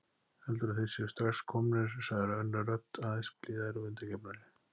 Heldurðu að þeir séu strax komnir sagði önnur rödd, aðeins blíðari og undirgefnari.